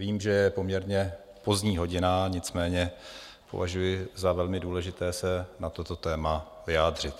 Vím, že je poměrně pozdní hodina, nicméně považuji za velmi důležité se na toto téma vyjádřit.